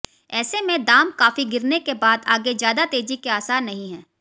ऐसे में दाम काफी गिरने के बाद आगे ज्यादा तेजी के आसार नहीं हैं